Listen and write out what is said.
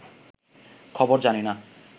খবর জানিনা